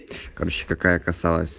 короче какая касалась